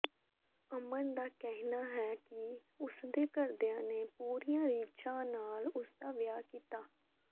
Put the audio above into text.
ਅਮਨ ਦਾ ਕਹਿਣਾ ਹੈ ਕਿ ਉਸਦੇ ਘਰਦਿਆਂ ਨੇ ਪੂਰੀਆਂ ਰੀਝਾਂ ਨਾਲ ਉਸਦਾ ਵਿਆਹ ਕੀਤਾ